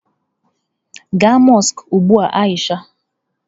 Gaa mọsk ugbu a Aisha!